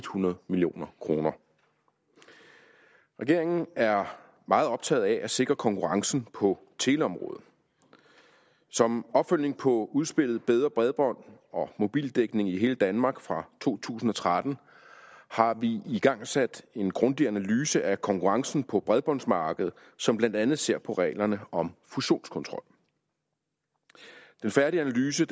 hundrede million kroner regeringen er meget optaget af at sikre konkurrencen på teleområdet som opfølgning på udspillet bedre bredbånd og mobildækning i hele danmark fra to tusind og tretten har vi igangsat en grundig analyse af konkurrencen på bredbåndsmarkedet som blandt andet ser på reglerne om fusionskontrol den færdige analyse